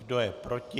Kdo je proti?